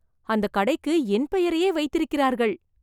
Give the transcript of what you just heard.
அந்த கடைக்கு என் பெயரையே வைத்திருக்கிறார்கள்